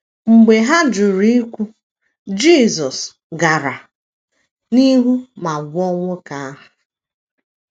Mgbe ha jụrụ ikwu, Jisọs gara n’ihu ma gwọọ nwoke ahụ.